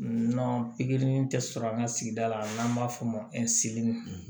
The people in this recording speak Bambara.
pikiri tɛ sɔrɔ an ka sigida la n'an b'a fɔ o ma